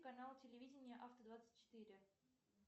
канал телевидения авто двадцать четыре